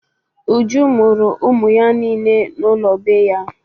Uju mụrụ ụmụ ya niile n'ụlọ be ya.